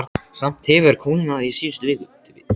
Samt hefur kólnað í síðustu viku.